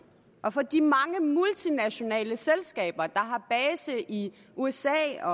og for de mange multinationale selskaber der har base i usa og